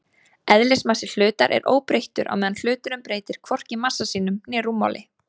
Eðlismassi hlutar er óbreyttur meðan hluturinn breytir hvorki massa sínum né rúmmáli.